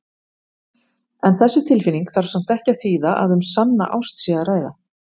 En þessi tilfinning þarf samt ekki að þýða að um sanna ást sé að ræða.